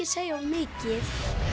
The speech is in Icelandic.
segja of mikið